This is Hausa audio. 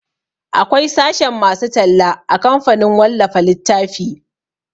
Akwai sashen masu talla a kamfanin wallafa littafi